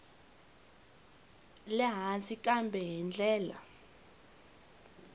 le hansi kambe hi ndlela